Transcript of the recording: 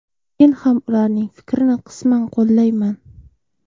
Men ham ularning fikrini qisman qo‘llayman.